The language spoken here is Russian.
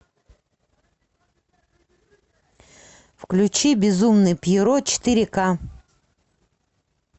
включи безумный пьеро четыре ка